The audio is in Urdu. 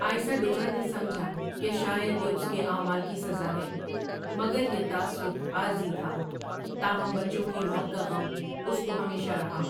آئسا ڈورا نے سمجھا کہ شاید یہ اس کے اعمال کی سزا ہے، مگر یہ تاثر عارضی تھا تاہم بچوں کی موت کا غم اس کو ہمیشہ رہا ۔